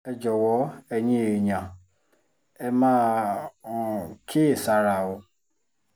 ẹ jọ̀wọ́ ẹ̀yin èèyàn ẹ máa um kíyèsára o